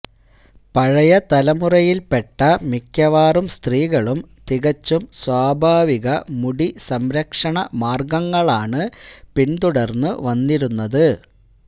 പഴയ തലമുറയില് പെട്ട മിക്കവാറും സ്ത്രീകളും തികച്ചും സ്വാഭാവിക മുടി സംരക്ഷണ മാര്ഗങ്ങളാണ് പിന്തുടര്ന്നു വന്നിരുന്നത്